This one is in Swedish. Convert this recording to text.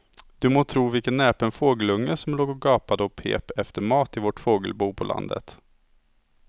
Du må tro vilken näpen fågelunge som låg och gapade och pep efter mat i vårt fågelbo på landet.